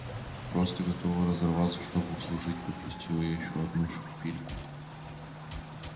просто готовы разорваться чтобы услужить подпустила я ещё одну шпильку